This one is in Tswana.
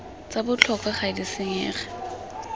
tsa botlhokwa ga di senyege